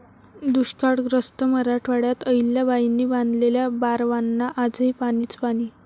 दुष्काळग्रस्त मराठवाड्यात अहिल्याबाईंनी बांधलेल्या बारवांना आजही पाणीच पाणी!